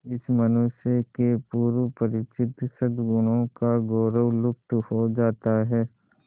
इस मनुष्य के पूर्व परिचित सदगुणों का गौरव लुप्त हो जाता है